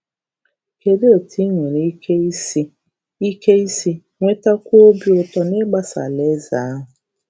Kedụ etu ị nwere ike isi ike isi nwetakwuo obi ụtọ n’igbasa Alaeze ahụ?